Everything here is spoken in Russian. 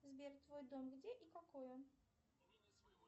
сбер твой дом где и какой он